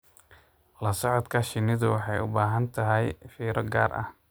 La socodka shinnidu waxay u baahan tahay fiiro gaar ah.